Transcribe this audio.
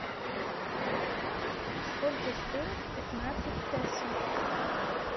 сколько стоит пятнадцать песо